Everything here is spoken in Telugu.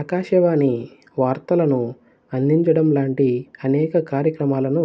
ఆకాశవాణి వాత్రలను అందించడం లాంటి అనేక కార్యక్రమాలను